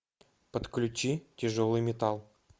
подключи тяжелый металл